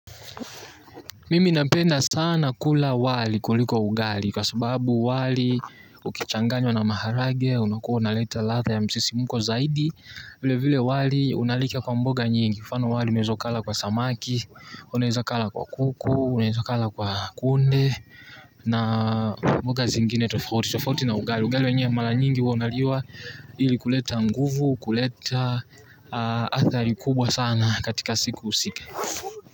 Mimi napenda sana kula wali kuliko ugali kwa sababu wali ukichanganywa na maharage unakuwa unaleta latha ya msisimuko zaidi. Vile vile wali unalika kwa mboga nyingi kwa mfano wali unaeza ukala kwa samaki unaeza kala kwa kuku uneza kala kwa kunde. Na mboga zingine tofauti tofauti na ugali ugali wenye mala nyingi huaunaliwa ili kuleta nguvu kuleta athari kubwa sana katika siku husike.